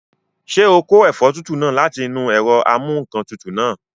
Ṣé o kó ẹ̀fọ́ tútù náà láti inú ẹ̀rọ amúǹkantutù náà?